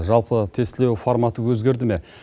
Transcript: жалпы тестілеу форматы өзгерді ме